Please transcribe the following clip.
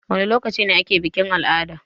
Wana lokaci ne ake bikin-al'ada?